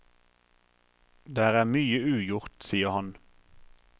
Der er mye ugjort, sier han.